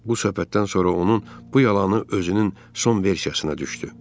Bu söhbətdən sonra onun bu yalanı özünün son versiyasına düşdü.